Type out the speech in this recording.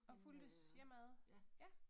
Og fulgtes hjemad? Ja